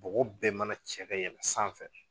Bɔgɔ bɛɛ mana cɛ ka yɛlɛ sanfɛ